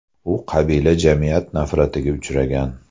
U qabila jamiyat nafratiga uchragan.